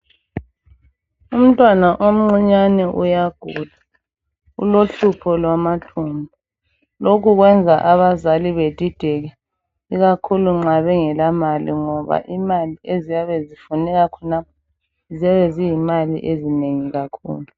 Umntwana omncinyane uyagula ulohlupho lwamathumbu. Lokhu kwenza abazali bedideke ikakhulu nxa bengela mali ngoba imali eziyabe zifuneka khonapho ziyabe zizimali ezinengi kakhulu